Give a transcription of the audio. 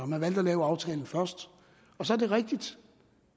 man valgte at lave aftalen først så er det rigtigt